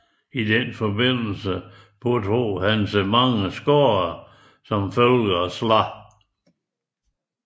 I denne forbindelse pådrog han sig mange skader som følge af slag